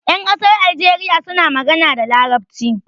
Ƴan ƙasar algeriya suna magana da Larabci.